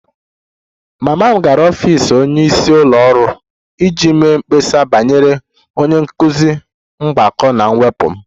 Mama m gara n'ọfịs onyeisi ụlọ ọrụ iji mee mkpesa banyere onye nkụzi mgbakọ na mwepụ m